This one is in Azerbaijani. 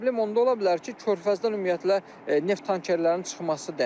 Problem onda ola bilər ki, körfəzdən ümumiyyətlə neft tankerlərinin çıxması dayansın.